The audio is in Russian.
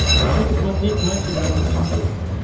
хочу посмотреть матч игра на смотрешке